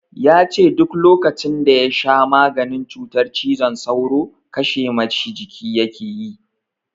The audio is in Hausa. Ya ce duk lokacin da ya sha maganin cutar cizon sauro kashe ma shi jiki yake yi.